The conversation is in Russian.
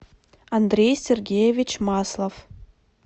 андрей сергеевич маслов